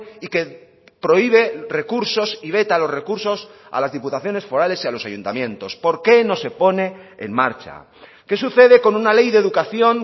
y que prohíbe recursos y veta los recursos a las diputaciones forales y a los ayuntamientos por qué no se pone en marcha qué sucede con una ley de educación